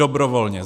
Dobrovolně.